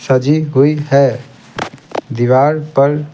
सजी हुई है दीवार पर'--